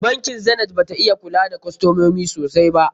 Bankin Zenith bata iya kula da kostomomi sosai ba.